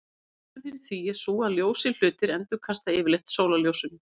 Ástæðan fyrir því er sú að ljósir hlutir endurkasta yfirleitt sólarljósinu.